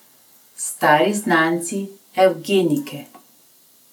Stari znanci evgenike.